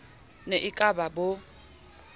ne e ka ba bo